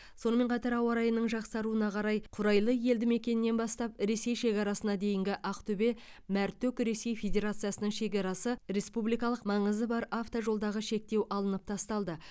сонымен қатар ауа райының жақсаруына қарай құрайлы елдімекенінен бастап ресей шекарасына дейінгі ақтөбе мәртөк ресей федерациясының шекарасы республикалық маңызы бар автожолдағы шектеу алынып тасталды